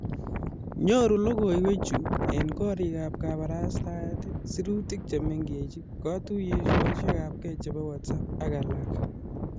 Nyoru logoiwechu eng korikaab kabarastaet, sirutik che mengech, kotuiyosiekab WhatsApp ak alak